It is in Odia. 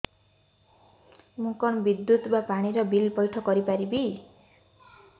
ମୁ କଣ ବିଦ୍ୟୁତ ବା ପାଣି ର ବିଲ ପଇଠ କରି ପାରିବି